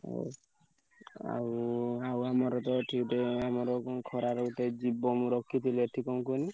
ହଉ ଆଉ ଆଉ ଆମରତ ଏଠି ଗୋଟେ ଆମର କଣ ଖରାରେ ଗୋଟେ ଜୀବ ମୁଁ ରଖିଥିଲି ଏଠି କଣ କୁହନି।